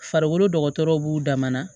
Farikolo dɔgɔtɔrɔw b'u damana